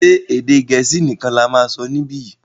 ṣe Èdè Gẹ̀ẹ́sì nìkàn là má sọ nibiyi?